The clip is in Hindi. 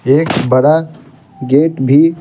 एक बड़ा गेट भी--